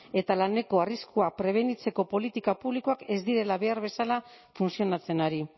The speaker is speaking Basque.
eta laneko arriskuak prebenitzeko politika publikoak ez direla behar bezala funtzionatzen ari